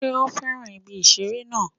Sé ó fẹ́ràn ibi ìṣeré náà